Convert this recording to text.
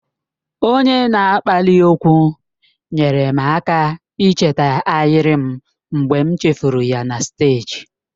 Onye na-akpali okwu nyeere m aka icheta ahịrị m mgbe m chefuru ya na steeji.